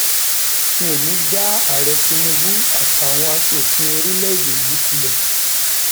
mi ò ní í já ààrẹ tinubu àtàwọn asòfin orílẹèdè yìí kulẹ